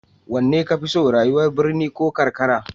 Wanne ka fi so, rayuwar birni ko karkara?